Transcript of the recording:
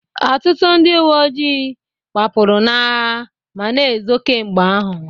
Ọtụtụ ndị uwe ojii gbapụrụ n'agha ma na-ezo kemgbe ahụ